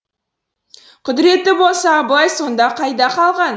құдіретті болса абылай сонда қайда қалған